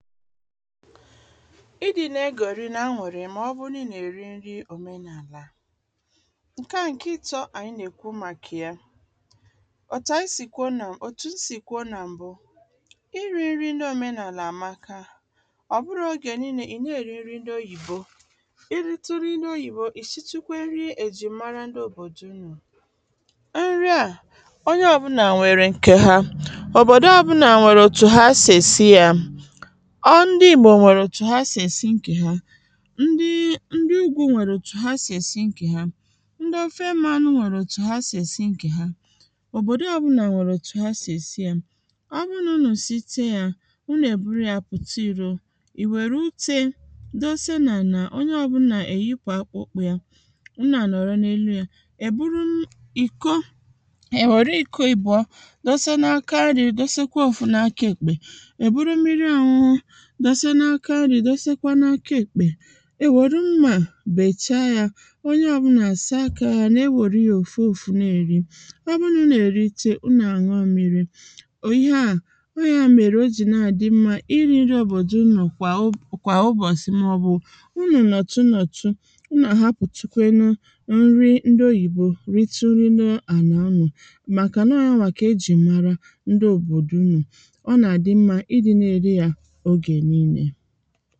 ịdị̄ na e gòri na anùri mà ọ bu nà i na èri nrị ndi̇ òmenàlà, ǹke à ǹke ịtọ anyị nà-èkwu màkà yā òtù anyị sì kwuo nà…òtù m sì kwuo nà ịrị nrị ndị òmenàlà àmaka ọ̀ bụrọ ogè nille ị na èri nrị ndị oyibo ị rịtụ nrị ǹdị oyìbo ị shịtụ kwe nrị e jì mara ndi òbòdò unù. Nrị à onye ọbụlà nwèrè ǹke ha òbòdo ọbụlà nwèrè òtù ha sì esi yā ndị ìgbò nwèrè òtù ha sì èsi ǹkè ha ǹdi ǹdị ugwū nwèrè otù ha sì èsi ǹke ha ǹdị ofe mmanū nwèrè otù ha sì èsi ǹke ha òbòdo ọbụlà nwèrè otù ha sì èsi yā ọ bụ nà unù site yā unù èburu yā pụ̀ta ìro ì wère utē dose nà anà ọnye ọbụlà èyipu akpụ ụkwū yā unù à nọrọ n’elu yē è buru ìko è were iko àbụọ dósé n’áká ǹrị̄ dosékwé ófú n’áká èkpè è buru mmiri ọnụñụ dose n’aka ǹrị̄ dosekwe n’aka èkpè è wòru mmà bèchaa yā onye ọbụla à saa akā yā na-ewòrū yā òfu òfu na èri ọ bụ nà unù èriche unù à nũọ mmīri ò ihe à o ihe à mèrè o jì nà àdị mmā ịrị̄ nrị òbòdò unù kwà o..kwà ụbọsị̀ mà ọ̀ bù unù nọ̀tụ nọ̀tụ unu àhapù tu kwe nu ǹrị ndị oyìbo ritù nino ànà unù màkà nà ọ yawà kà e jì mara ndị òbòdò unù ọ nà àdị mmā ịdị nā èrị yā ogè nille